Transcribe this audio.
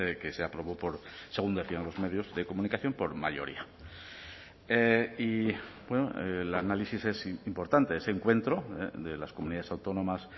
que se aprobó por según decían los medios de comunicación por mayoría y el análisis es importante ese encuentro de las comunidades autónomas